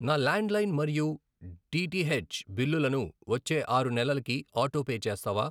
నా landline మరియు DTH బిల్లులను వచ్చే ఆరు నెలలకి ఆటోపే చేస్తావా?